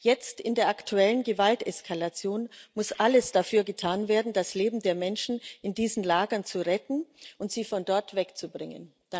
Jetzt in der aktuellen Gewalteskalation muss alles dafür getan werden, das Leben der Menschen in diesen Lagern zu retten und sie von dort wegzubringen.